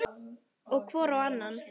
Og hvor á annan.